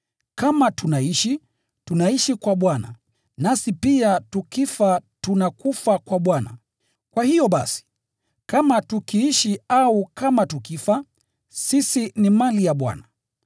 Kama tunaishi, tunaishi kwa Bwana, nasi pia tukifa tunakufa kwa Bwana. Kwa hiyo basi, kama tukiishi au kama tukifa, sisi ni mali ya Bwana.